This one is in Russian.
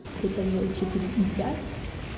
этажей четыре и пять